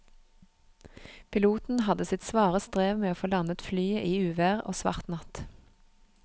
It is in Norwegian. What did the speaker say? Piloten hadde sitt svare strev med å få landet flyet i uvær og svart natt.